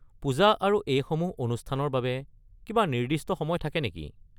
পূজা আৰু এইসমূহ অনুষ্ঠানৰ বাবে কিবা নিৰ্দিষ্ট সময় থাকে নেকি?